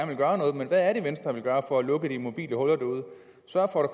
vil gøre noget men hvad er det venstre vil gøre for at lukke de mobile og sørge for at